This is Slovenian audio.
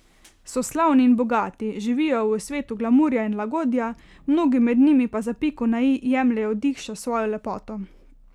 So slavni in bogati, živijo v svetu glamurja in lagodja, mnogi med njimi pa za piko na i jemljejo dih še s svojo lepoto.